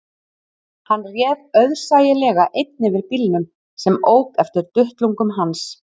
Hann réð auðsæilega einn yfir bílnum sem ók eftir duttlungum hans